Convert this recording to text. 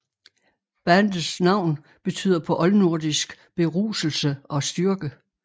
Bandets navn betyder på oldnordisk beruselse og styrke